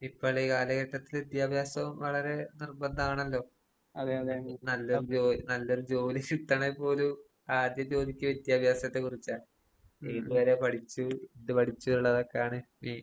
ഇപ്പള് കാലഘട്ടത്തില് വിദ്യാഭ്യാസവും വളരെ നിർബന്ധാണല്ലോ? നല്ലോം ജോൽ നല്ലൊരു ജോലി കിട്ടണേ പോലും ആദ്യം ചോദിക്ക്യ വിദ്യാഭ്യാസത്തെ കുറിച്ചാണ്. ഏത് വരെ പഠിച്ചു, എന്ത് പഠിച്ചു ഉള്ളതൊക്കെയാണ് ഈ